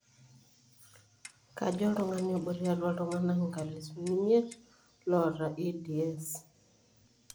Kajo oltungani obo tiatua iltunganaa enkalifu emiet loota EDS.